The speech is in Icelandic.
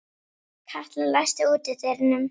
Katla, læstu útidyrunum.